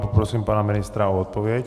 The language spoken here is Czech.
Poprosím pana ministra o odpověď.